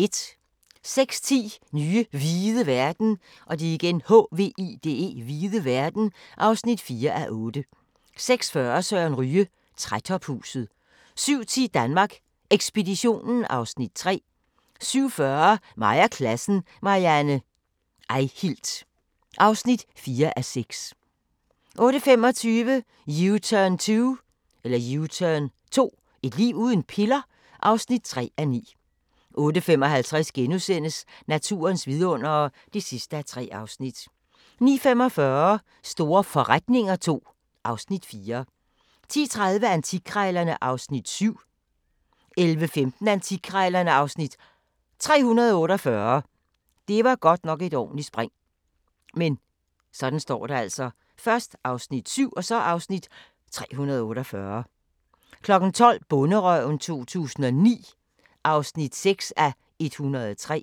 06:10: Nye hvide verden (4:8) 06:40: Søren Ryge: Trætophuset 07:10: Danmark Ekspeditionen (Afs. 3) 07:40: Mig og klassen – Marianne Eihilt (4:6) 08:25: U-turn 2 – et liv uden piller? (3:9) 08:55: Naturens vidundere (3:3)* 09:45: Store forretninger II (Afs. 4) 10:30: Antikkrejlerne (Afs. 7) 11:15: Antikkrejlerne (Afs. 348) 12:00: Bonderøven 2009 (6:103)